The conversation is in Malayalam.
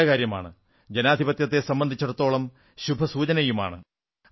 അത് നല്ല കാര്യമാണ് ജനാധിപത്യത്തെ സംബന്ധിച്ചിടത്തോളം ശുഭസൂചനയുമാണ്